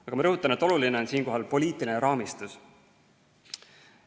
Aga ma rõhutan, et oluline on siinkohal poliitiline raamistus.